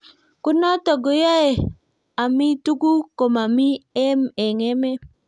ko not koae ami tuguk ko mami eng emet